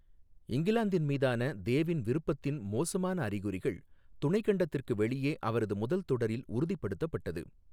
இங்கிலாந்தின் மீதான தேவின் விருப்பத்தின் மோசமான அறிகுறிகள் துணைக் கண்டத்திற்கு வெளியே அவரது முதல் தொடரில் உறுதிப்படுத்தப்பட்டது.